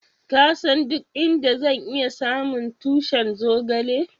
Ka san duk inda zan iya samu tushin zogale?